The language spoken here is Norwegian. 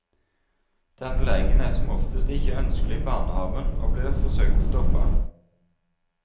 Denne leken er som oftest ikke ønskelig i barnehagen og blir forsøkt stoppet.